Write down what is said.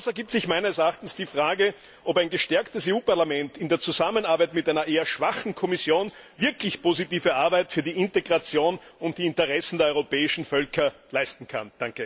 Daraus ergibt sich die Frage, ob ein gestärktes EU Parlament in der Zusammenarbeit mit einer eher schwachen Kommission wirklich positive Arbeit für die Integration und die Interessen der europäischen Völker leisten kann.